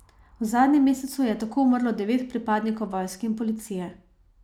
V zadnjem mesecu je tako umrlo devet pripadnikov vojske in policije.